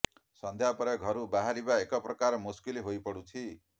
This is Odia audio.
ସନ୍ଧ୍ୟା ପରେ ଘରୁ ବାହାରିବା ଏକ ପ୍ରକାର ମୁସ୍କିଲ ହୋଇପଡ଼ୁଛି